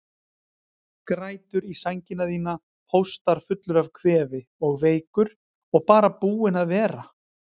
Grætur í sængina þína, hóstar fullur af kvefi og veikur og bara búinn að vera.